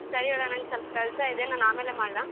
ಹ್ಮ್, ಸರಿ ಬಿಡ್ ನಂಗ್ ಸ್ವಲ್ಪ ಕೆಲ್ಸ ಇದೆ ನಾನ್ ಆಮೇಲೆ ಮಾಡ್ಲಾ?